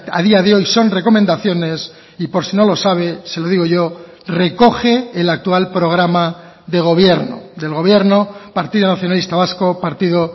a día de hoy son recomendaciones y por si no lo sabe se lo digo yo recoge el actual programa de gobierno del gobierno partido nacionalista vasco partido